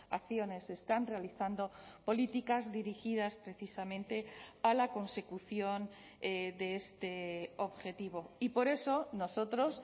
acciones se están realizando políticas dirigidas precisamente a la consecución de este objetivo y por eso nosotros